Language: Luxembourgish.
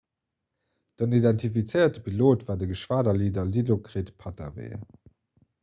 den identifizéierte pilot war de geschwaderleader dilokrit pattavee